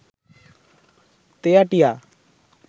তেয়াটিয়া